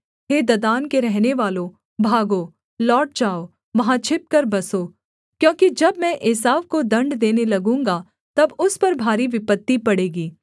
हे Dedan के रहनेवालों भागो लौट जाओ वहाँ छिपकर बसो क्योंकि जब मैं एसाव को दण्ड देने लगूँगा तब उस पर भारी विपत्ति पड़ेगी